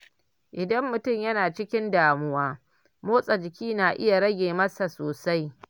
Idan mutum yana cikin damuwa, motsa jiki na iya rage masa sosai.